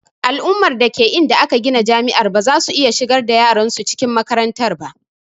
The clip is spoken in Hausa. Al'umma dake inda aka gina jami'ar bazasu iya shigar da yaran su cikin makarantar ba